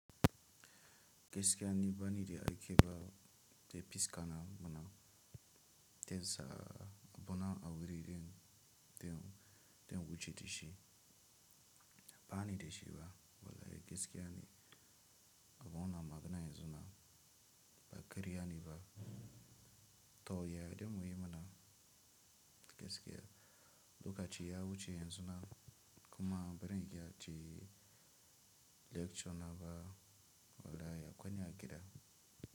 Gaskiya ni bani de aike ba te piskaana muna te zaa bona awiri den te wuce teshi. Bani teshi ba wala gskiya ne abona magina yenzuna ba kariya ne ba. To yade muyi mana gaskiya loka chi ya wuce yenzuna kuma ba ren iya che lecture na ba wala ya kwani agida.